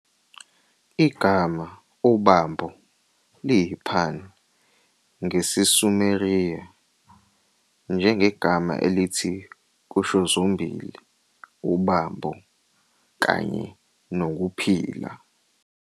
Igama "ubambo" liyipun ngesiSumeriya, njengegama elithi kusho zombili "ubambo" kanye "nokuphila".